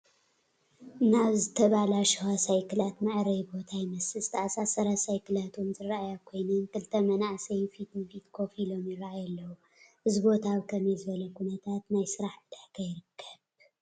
ናይ ዝተበላሸዋ ሳይክላት መዐረይ ቦታ ይመስል፡፡ ዝተኣሳሳራ ሳይክላት ውን ዝረአያ ኮይነን ክልተ መናእሰይን ፊት ንፊት ከፍ ኢሎም ይራኣዩ ኣለው፡፡ እዚ ቦታ ኣብ ከመይ ዝበለ ኩነታት ናይ ስራሕ ዕዳጋ ይርከብ?